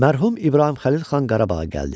Mərhum İbrahim Xəlil xan Qarabağa gəldi.